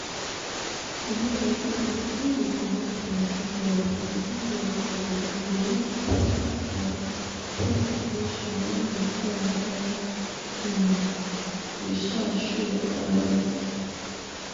e be like say persin wey dey comot plenty blood plenty blood for body go need qik um qik detection when the sign don um dey um show arise